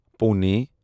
Pune